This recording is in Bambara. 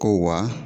Ko wa